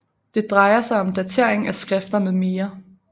Det drejer sig om datering af skrifter med mere